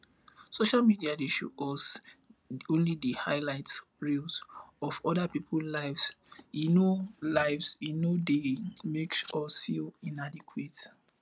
social media dey show us only di highlight reels of oda peoples lives e no lives e no dey make us feel inadequate